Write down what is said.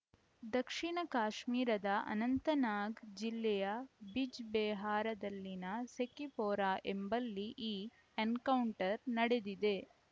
ದಕ್ಷಿಣ ಕಾಶ್ಮೀರದ ಅನಂತನಾಗ್‌ ಜಿಲ್ಲೆಯ ಬಿಜ್‌ಬೆಹಾರದಲ್ಲಿನ ಸೆಕಿಪೋರಾ ಎಂಬಲ್ಲಿ ಈ ಎನ್‌ಕೌಂಟರ್‌ ನಡೆದಿದೆ